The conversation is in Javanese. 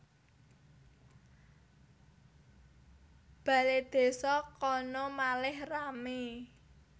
Baledésa kono malih rame